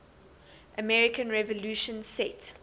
american revolution set